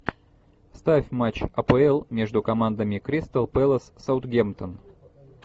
ставь матч апл между командами кристал пэлас саутгемптон